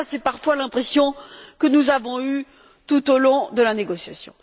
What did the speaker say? En tout cas, c'est parfois l'impression que nous avons eue tout au long de la négociation.